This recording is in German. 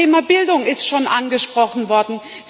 Auch das Thema Bildung ist schon angesprochen worden.